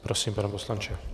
Prosím, pane poslanče.